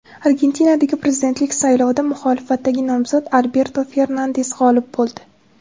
Argentinadagi prezidentlik saylovida muxolifatdagi nomzod Alberto Fernandes g‘olib bo‘ldi.